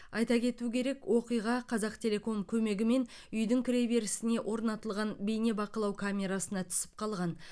айта кету керек оқиға қазақтелеком көмегімен үйдің кіреберісіне орнатылған бейнебақылау камерасына түсіп қалған